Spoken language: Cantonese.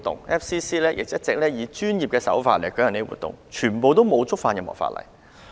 外國記者會亦一直以專業的手法舉行活動，從來未曾觸犯任何法例。